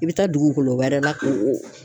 I bɛ taa dugukolo wɛrɛ la k'o o